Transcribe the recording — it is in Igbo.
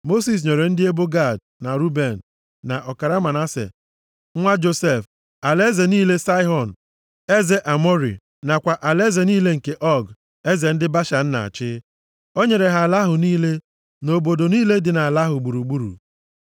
Mosis nyere ndị ebo Gad, na Ruben, na ọkara Manase nwa Josef, alaeze niile Saịhọn eze Amọrị nakwa alaeze niile nke Ọg, eze ndị Bashan na-achị. O nyere ha ala ahụ niile, na obodo niile dị nʼala ahụ gburugburu.